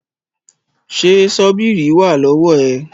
Ṣé Ṣọ́bíìrì wà lọ́wọ́ ẹ̀?